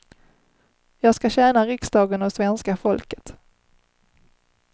Jag ska tjäna riksdagen och svenska folket.